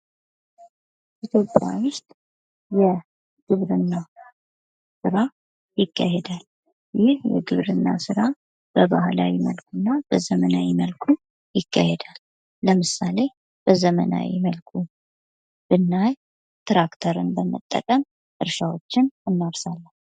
ኢትዮጵያ ውስጥ የግብርና ስራ ይካሄዳል ።ይህ ግብርና ስራ በባህላዊ ወይም በዘመናዊ መልክ ሊካሄድ ይችላል ።ለምሳሌ ዘመናዊ ግብርናን ብናይ ትራክተርን በመጠቀም እርሻዎችን እናርሳለን።